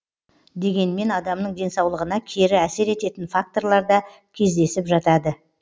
дегенмен адамның денсаулығына кері әсер ететін факторлар да кездесіп жатады